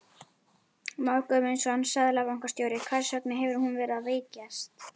Már Guðmundsson, seðlabankastjóri: Hvers vegna hefur hún verið að veikjast?